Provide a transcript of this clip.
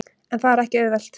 En það er ekki auðvelt.